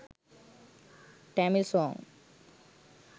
tamil song